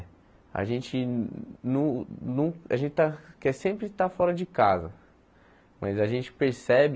A gente no no a gente está quer sempre estar fora de casa, mas a gente percebe